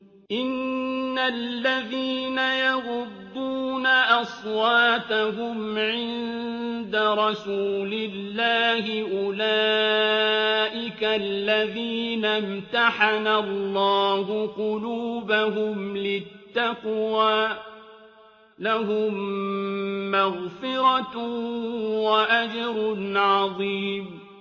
إِنَّ الَّذِينَ يَغُضُّونَ أَصْوَاتَهُمْ عِندَ رَسُولِ اللَّهِ أُولَٰئِكَ الَّذِينَ امْتَحَنَ اللَّهُ قُلُوبَهُمْ لِلتَّقْوَىٰ ۚ لَهُم مَّغْفِرَةٌ وَأَجْرٌ عَظِيمٌ